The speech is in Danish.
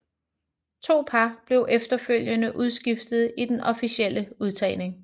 To par blev efterfølgende udskiftet i den officielle udtagning